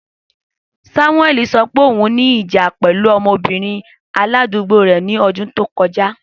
Samueli sọ pe oun ni ija pẹlu ọmọbirin aladugbo rẹ ni ọdun to kọja.